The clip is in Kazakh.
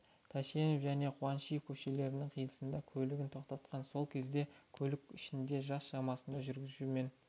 тәшенов және қуанышев көшелерінің қиылысында көлігін тоқтатқан сол кезде көлік ішінде жас шамасындағы жүргізуші мен